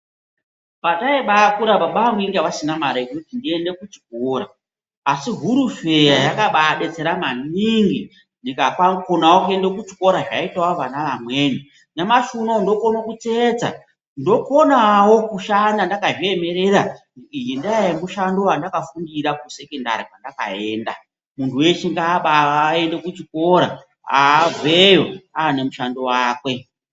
Pataimbakura baba angu vanga vasina mare yekuti ndiende kuchikora ASI hurufeya yakabadetsera maningi tikakona kuenda kuchikora zvaita vana vamweni . nyamashi uno ndokuona kutsetsa ndokuona kushanda ndakazviemerera ndenyaya yemushando yandakafundira kusekondari kwandakaenda muntu weshe ngaende kuchikora abveyo ane mushando wake.